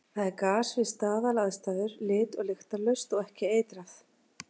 Það er gas við staðalaðstæður, lit- og lyktarlaust og ekki eitrað.